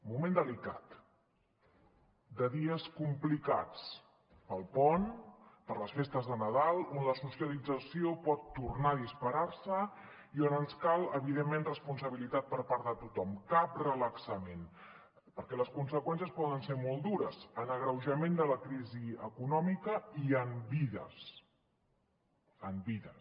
moment delicat de dies complicats pel pont per les festes de nadal on la socialització pot tornar a disparar se i on ens cal evidentment responsabilitat per part de tothom cap relaxament perquè les conseqüències poden ser molt dures en agreujament de la crisi econòmica i en vides en vides